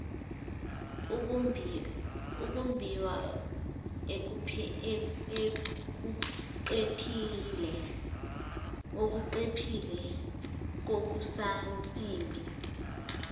ukumbiwa okudephile kokusansimbi